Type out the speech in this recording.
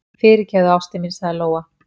Fyrirgefðu, ástin mín, sagði Lóa.